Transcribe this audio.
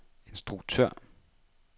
instruktør